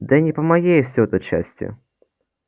да и не по моей все это части